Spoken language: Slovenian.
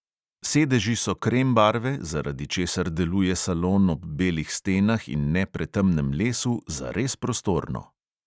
Sedeži so krem barve, zaradi česar deluje salon ob belih stenah in ne pretemnem lesu zares prostorno.